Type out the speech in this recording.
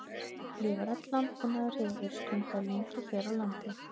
Lífrænn landbúnaður hefur verið stundaður lengi hér á landi.